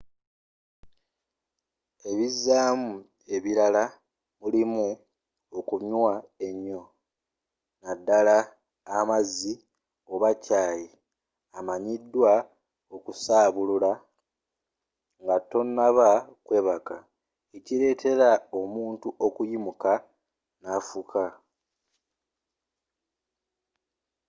ebizaamu ebirala mulimu okunywa ennyo nadala amazzi oba kyai amanyidwa okusaabulula ngatonaba kwebaka ekiletera omuntu okuyimuka nafuka